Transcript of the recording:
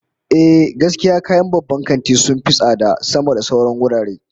Ehh, gaskiya kayan babban kanti sun fi tsada sama da sauran wurare